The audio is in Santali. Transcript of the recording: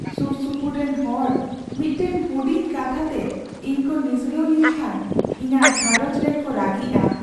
ᱥᱩᱨᱥᱩᱯᱩᱨ ᱨᱮᱱ ᱦᱚᱲ ᱢᱤᱫᱴᱟᱝ ᱦᱩᱰᱤᱧ ᱠᱟᱛᱷᱟ ᱛᱮ ᱤᱧ ᱠᱚ ᱱᱤᱥᱲᱟᱹᱣ ᱞᱤᱧ ᱠᱷᱟᱱ ᱤᱧᱟᱹᱜ ᱜᱷᱟᱨᱚᱸᱡᱽ ᱨᱮᱱ ᱠᱚ ᱨᱟᱹᱜᱤᱜᱼᱟ ᱾